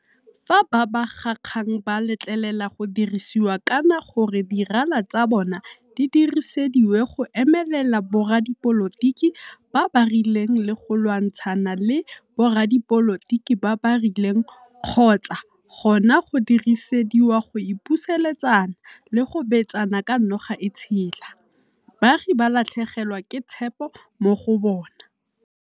Fa babegakgang ba letlelela go dirisiwa kana gore di rala tsa bona di dirisediwe go emelela boradipolotiki ba ba rileng le go lwantshana le boradipolotiki ba ba rileng kgotsa gona go dirisediwa go ipusuletsana le go betsana ka noga e tshela, baagi ba latlhegelwa ke tshepo mo go bona.